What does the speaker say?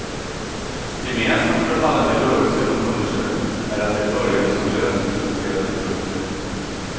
Gemensamt för alla de rörelser hon undersökt är att de började som löst strukturerade grupper.